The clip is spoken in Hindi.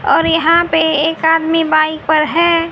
और यहां पे एक आदमी बाइक पर है।